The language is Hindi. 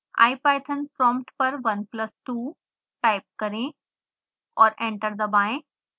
ipython prompt पर 1 plus 2 टाइप करें और एंटर दबाएं